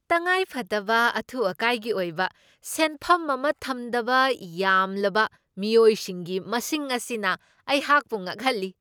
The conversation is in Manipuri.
ꯇꯪꯉꯥꯏꯐꯗꯕ ꯑꯊꯨ ꯑꯀꯥꯏꯒꯤ ꯑꯣꯏꯕ ꯁꯦꯟꯐꯝ ꯑꯃ ꯊꯝꯗꯕ ꯌꯥꯝꯂꯕ ꯃꯤꯑꯣꯏꯁꯤꯡꯒꯤ ꯃꯁꯤꯡ ꯑꯁꯤꯅ ꯑꯩꯍꯥꯛꯄꯨ ꯉꯛꯍꯜꯂꯤ꯫